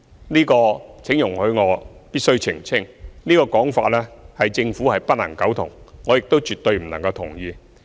就這一點，我必須澄清：對於這個說法，政府不能苟同，我亦絕對不能同意。